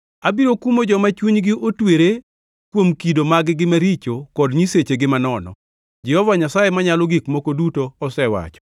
Abiro kumo joma chunygi otwere kuom kido mag-gi maricho kod nyisechegi manono. Jehova Nyasaye Manyalo Gik Moko Duto osewacho.”